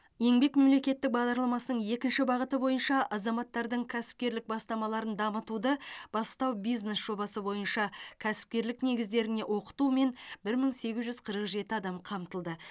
еңбек мемлекеттік бағдарламасының екінші бағыты бойынша азаматтардың кәсіпкерлік бастамаларын дамытуды бастау бизнес жобасы бойынша кәсіпкерлік негіздеріне оқытумен бір мың сегіз жүз қырық жеті адам қамтылды